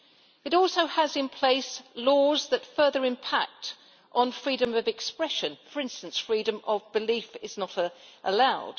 It also has in place laws that further impact on freedom of expression for instance, freedom of belief is not allowed.